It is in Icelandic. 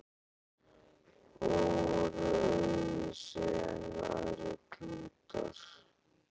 Og voru öðruvísi en aðrir klútar, þeir voru gersemi.